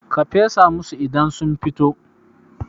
ka fesa musu idan sun fito!